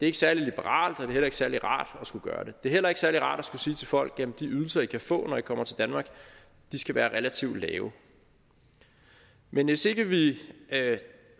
ikke særlig liberalt og heller ikke særlig rart at skulle gøre det det er heller ikke særlig rart at skulle sige til folk at de ydelser de kan få når de kommer til danmark skal være relativt lave men hvis ikke vi